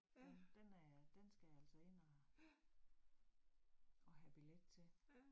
Den den er jeg, den skal jeg altså ind og og have billet til